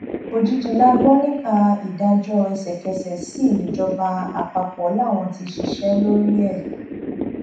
òjijì la gbọ nípa ìdájọ ẹsẹkẹsẹ sí níjọba àpapọ làwọn ti ṣiṣẹ lórí ẹ